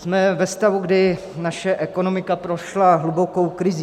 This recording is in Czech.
Jsme ve stavu, kdy naše ekonomika prošla hlubokou krizí.